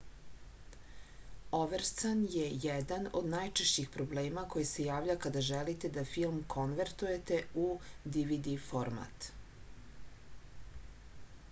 overscan je jedan od najčešćih problema koji se javlja kada želite da film konvertujete u dvd format